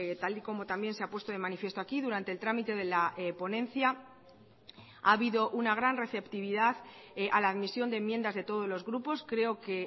tal y como también se ha puesto de manifiesto aquí durante el trámite de la ponencia ha habido una gran receptividad a la admisión de enmiendas de todos los grupos creo que